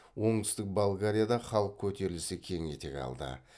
оңтүстік болгарияда халық көтерілісі кең етек алды